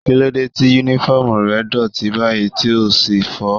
Kílódé tí Únífọ́ọ̀mù rẹ dọ̀tí báyìí tí o ò sì fọ̀ ọ́?